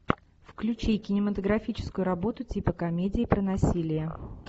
включи кинематографическую работу типа комедии про насилие